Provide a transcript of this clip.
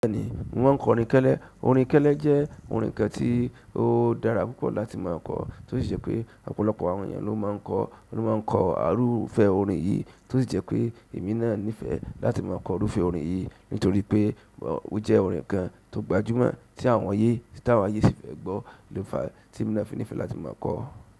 Bẹ́ẹ̀ni mo ma n k'ọrin kẹ́lẹ́. Orin kẹ́lẹ́ jẹ́ orin kan tí ó dára púpọ̀ láti ma kọ, tó sì jẹ́ pé ọ̀pọ̀lọpọ̀ àwọn ènìyàn ló ma ń kọ, ló ma ń kọ arufẹ orin yìí, tó sì jẹ́ pé èmi náà nífẹ̀ẹ́ láti ma kọ òkúùfé orin yìí, nítorí pé ó jẹ́ orin kan tó gbajúmọ̀ tí àwọn ayé, tí àwọn ayé sì fẹ́ gbọ́ ló fàá tí èmi náà fi nífẹ̀ẹ́ láti ma kọ ọ́.